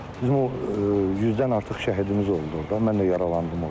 bizim o 100-dən artıq şəhidimiz oldu orda, mən də yaralandım orda.